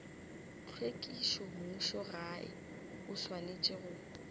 tlhwekišo mmušogae o swanetše go